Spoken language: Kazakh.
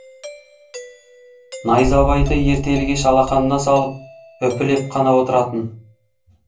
найзабайды ертелі кеш алақанына салып үпілеп қана отыратын